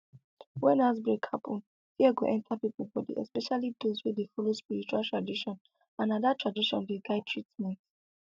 when outbreak happen fear go enter people body especially those wey dey follow spiritual tradition and na that tradition dey guide treatment